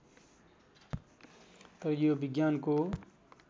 तर यो विज्ञानको